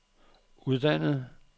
uddannet